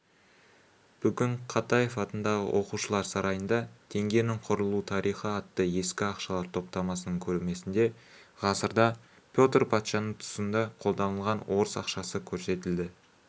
бүгін катаев атындағы оқушылар сарайында теңгенің құрылу тарихы атты ескі ақшалар топтамасының көрмесінде ғасырда петр патшаның тұсында қолданылған орыс ақшасы көрсетілді